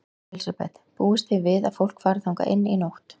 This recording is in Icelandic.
Elísabet: Búist þið við að fólk fari þangað inn í nótt?